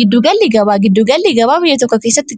Giddugallii gabaa biyya tokko keessatti